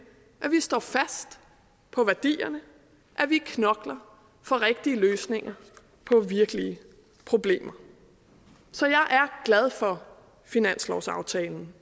at vi står fast på værdierne og at vi knokler for rigtige løsninger på virkelige problemer så jeg er glad for finanslovsaftalen